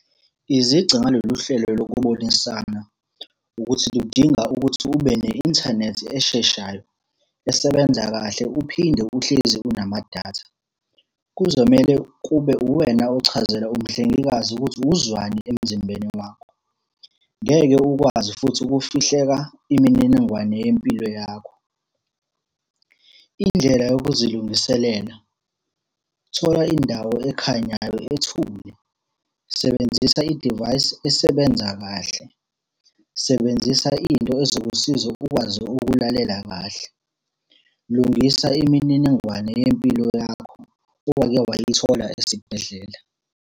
Izici ngalolu hlelo lokubonisana, ukuthi ludinga ukuthi ube ne-inthanethi esheshayo, esebenza kahle uphinde uhlezi unamadatha. Kuzomele kube uwena ochazela umhlengikazi ukuthi uzwani emzimbeni wakho. Ngeke ukwazi futhi ukufihleka imininingwane yempilo yakho. Indlela yokuzilungiselela, thola indawo ekhanyayo ethule, sebenzisa idivayisi esebenza kahle, sebenzisa into ezokusiza ukwazi ukulalela kahle. Lungisa imininingwane yempilo yakho, owake wayithola esibhedlela.